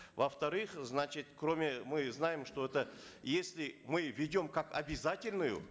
во вторых значит кроме мы знаем что это если мы введем как обязательную